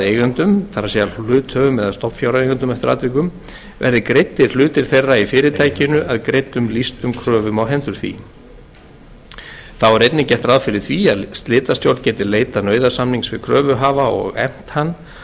eigendum verði greiddir hlutir þeirra í fyrirtækinu að greiddum lýstum kröfum á hendur því þá er einnig gert ráð fyrir því að slitastjórn geti leitað nauðasamnings við kröfuhafa og efnt hann